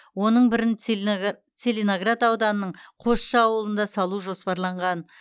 оның бірін целиноград ауданының қосшы ауылында салу жоспарланған